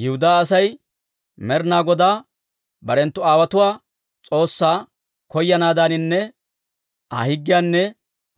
Yihudaa asay Med'inaa Godaa barenttu aawotuwaa S'oossaa koyanaadaaninne Aa higgiyaanne